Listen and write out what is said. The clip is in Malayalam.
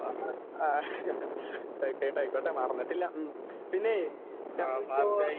ആ ആ ആയ്ക്കോട്ടെ ആയ്ക്കോട്ടെ മറന്നിട്ടില്ല ഉം പിന്നേയ് സംഗതിപ്പോ.